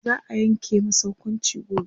za'a Yanke masa hukunci gobe